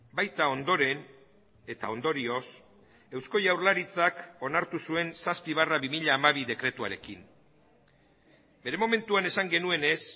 baita ondoren eta ondorioz eusko jaurlaritzak onartu zuen zazpi barra bi mila hamabi dekretuarekin bere momentuan esan genuenez